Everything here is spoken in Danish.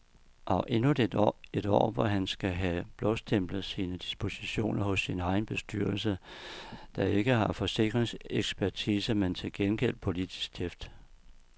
Og endnu et år, hvor han skal have blåstemplet sine dispositioner hos sin egen bestyrelse, der ikke har forsikringsekspertise, men til gengæld politisk tæft.